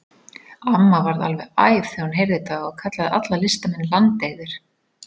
Amma varð alveg æf þegar hún heyrði þetta og kallaði alla listamenn landeyður.